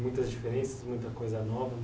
Muitas diferenças, muita coisa nova.